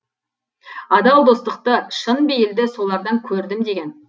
адал достықты шын бейілді солардан көрдім деген